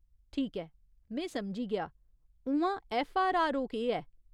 ठीक ऐ में समझी गेआ। उ'आं, ऐफ्फआरआरओ केह् ऐ ?